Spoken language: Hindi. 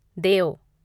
देव